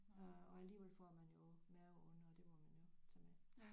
Øh og alligevel får man jo maveonde og det må man jo tage med